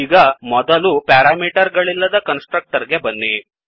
ಈಗ ಮೊದಲು ಪೆರಾಮೀಟರ್ ಗಳಿಲ್ಲದ ಕನ್ಸ್ ಟ್ರಕ್ಟರ್ ಗೆ ಬನ್ನಿ